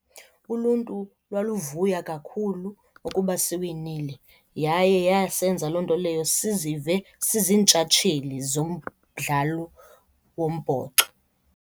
Uluntu lwaluvuya kakhulu ukuba siwinile yaye yasenza loo nto leyo sizive siziintshatsheli zomdlalo wombhoxo.